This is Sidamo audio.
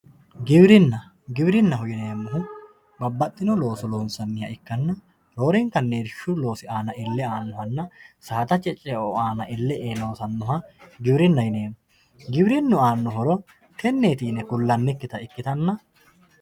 giwirinna giwirinnaho yineemohu babbaxino looso loonsanniha ikkanna roorenkanni irshu loosi aana ille aanohanna saadate ce"o aana ille ee loosannoha giwirinna yineemo giwirinnu aanno horo tenneti yine kullanikita ikkitanna